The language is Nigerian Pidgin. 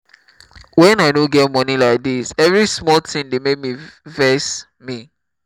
wen i no get money like dis every small thing dey make me vex me